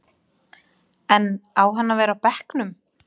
En á hann að vera á bekknum?